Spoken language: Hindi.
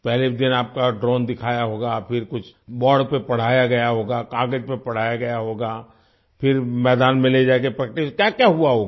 पहले दिन आपका ड्रोन दिखाया होगा फिर कुछ बोर्ड पर पढ़ाया गया होगा कागज़ पर पढ़ाया गया होगा फिर मैदान में ले जाकर प्रैक्टिस क्याक्या हुआ होगा